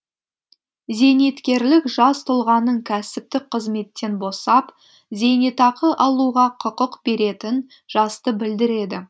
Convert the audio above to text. зейнеткерлік жас тұлғаның кәсіптік қызметтен босап зейнетақы алуға құқық беретін жасты білдіреді